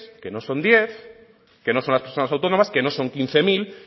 que no son diez que no son las personas autónomas que no son quince mil